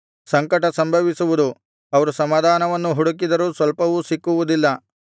ಸಂಕಟ ಸಂಭವಿಸುವುದು ಅವರು ಸಮಾಧಾನವನ್ನು ಹುಡುಕಿದರೂ ಸ್ವಲ್ಪವೂ ಸಿಕ್ಕುವುದಿಲ್ಲ